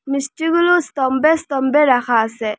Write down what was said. মিষ্টিগুলো স্তম্বে স্তম্বে রাখা আসে।